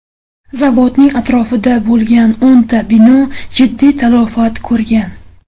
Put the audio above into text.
Zavodning atrofida bo‘lgan o‘nta bino jiddiy talafot ko‘rgan.